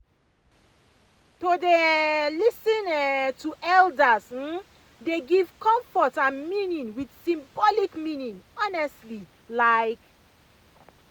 to dey um lis ten um to elders um dey give comfort and meaning with symbolic meaning honestly like